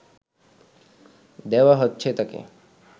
দেওয়া হচ্ছে তাকে